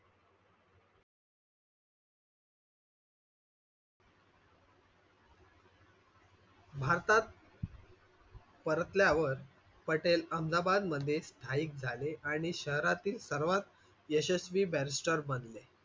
भारतात परतल्यावर पटेल अहमदाबाद मध्ये स्थायिक झाले आणि शहरातील सर्वात यशस्वी barrister झाले.